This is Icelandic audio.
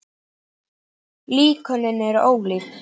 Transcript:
Líkönin eru ólík.